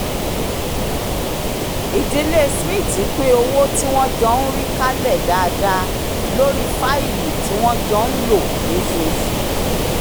ìdílé smith pín owó tí wọ́n jọ ń rí kálẹ̀ dáadáa lórí fáìlì tí wọ́n jọ ń lò lósooṣù